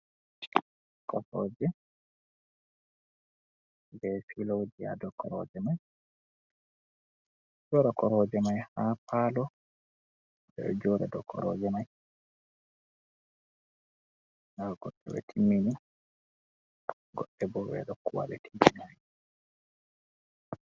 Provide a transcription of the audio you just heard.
Koroje be piloji ha dow koraje mai. Beɗo waɗa koroje mai ha palo. Beɗo joɗa dow koroje mai. Nɗa goɗɗe be timmini goɗɗe bo beɗo huwa be timmi nai.